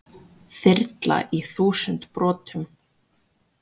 Þyrla í þúsund brotum